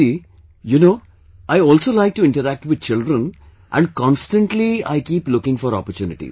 Gaurav ji, you know, I also like to interact with children constantly and I keep looking for opportunities